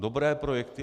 Dobré projekty.